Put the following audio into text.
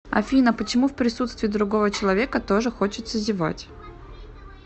афина почему в присутствии другого человека тоже хочется зевать